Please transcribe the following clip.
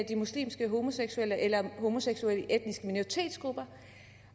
de muslimske homoseksuelle eller homoseksuelle i etniske minoritetsgrupper